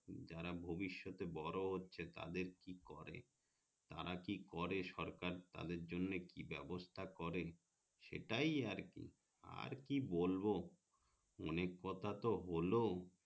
যারা ভবিস্যতে বড়ো হচ্ছে তাদের কি করে তারা কি করে সরকার তাদের জন্য কি ব্যবস্থা করে সেটাই আরকি আর কি বলবো অনেক কথা তো হলো